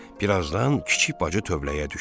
Birazdan kiçik bacı tövləyə düşdü.